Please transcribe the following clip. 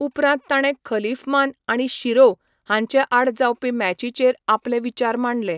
उपरांत ताणें खलीफमान आनी शिरोव हांचे आड जावपी मॅचींचेर आपले विचार मांडले.